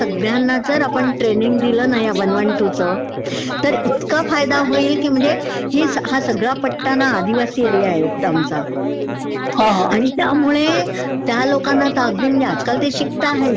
सगळ्यांना जर आपण ट्रेनिंग दिलं ना या वन वन टू चं तर त्यंना खूपचं फायदा हौईल की म्हणजे हो सगळा पट्टा ना आदिवासी एरीया आहे एकदम आमचा, आणि त्यामुळे त्या लोकांना तर अगदी म्हणजे आजकाल ते शिकताहेत,